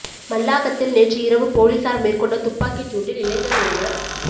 மல்லாகத்தில் நேற்று இரவு பொலிஸார் மேற்கொண்ட துப்பாக்கிச் சூட்டில் இளைஞர் ஒருவர்